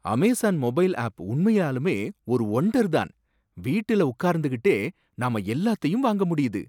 Amazon mobile app உண்மையாலுமே ஒரு wonder தான்! வீட்டில உட்கார்ந்துகிட்டே நாம எல்லாத்தையும் வாங்க முடியுது.